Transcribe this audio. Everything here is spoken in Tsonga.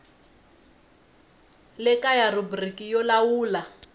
le kaya rhubiriki yo lawula